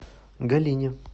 галине